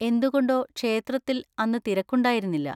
എന്തുകൊണ്ടോ ക്ഷേത്രത്തിൽ അന്ന് തിരക്കുണ്ടായിരുന്നില്ല.